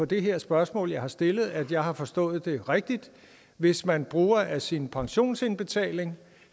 det her spørgsmål jeg har stillet at jeg har forstået det rigtigt hvis man bruger af sin pensionsindbetaling